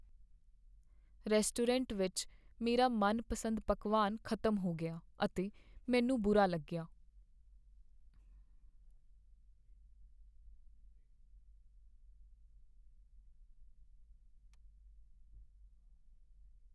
Restaurant ਵਿੱਚ ਮੇਰਾ ਮਨਪਸੰਦ ਪਕਵਾਨ ਖ਼ਤਮ ਹੋ ਗਿਆ ਅਤੇ ਮੈਨੂੰ ਬੁਰਾ ਲੱਗਿਆ ।